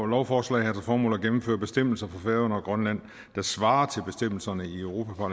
lovforslag har til formål at gennemføre bestemmelser for færøerne og grønland der svarer til bestemmelserne i europa